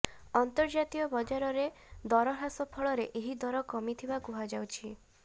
ଅନ୍ତର୍ଜାତୀୟ ବଜାରରେ ଦର ହ୍ରାସ ଫଳରେ ଏହି ଦର କମିଥିବା କୁହାଯାଉଛି